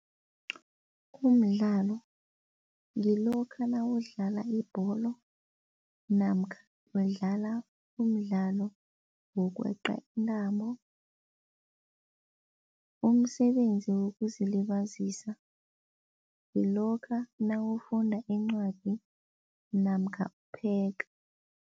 Umdlalo ngilokha nawudlala ibholo namkha udlala umdlalo wokweqa intambo. Umsebenzi wokuzilibazisa kulokha nawufunda incwadi namkha upheka.